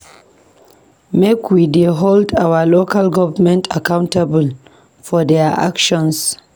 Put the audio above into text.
Make we dey hold our local government accountable for their actions.